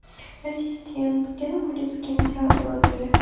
ассистент где находится кинотеатр в отеле